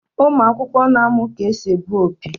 Ụmụ akwụkwọ n'amu ka esị egbụ opi